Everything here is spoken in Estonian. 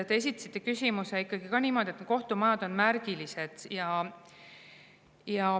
Te esitasite küsimuse niimoodi, et kohtumajad on märgilised.